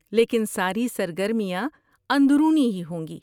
لیکن ساری سرگرمیاں اندرونی ہی ہوں گی۔